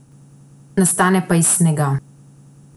Nastane pa iz snega.